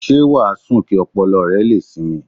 Ṣé wà á sùn kí ọpọlọ rẹ lè sinmi?